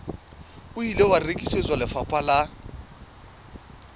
ile wa rekisetswa lefapha la